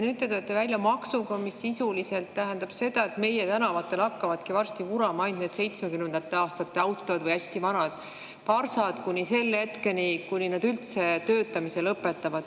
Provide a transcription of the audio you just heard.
Nüüd te tulete välja maksuga, mis sisuliselt tähendab seda, et meie tänavatel hakkavadki varsti vurama ainult 1970. aastate autod ja hästi vanad parsad kuni selle hetkeni, kuni need üldse töötamise lõpetavad.